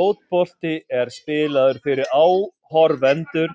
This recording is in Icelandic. Fótbolti er spilaður fyrir áhorfendur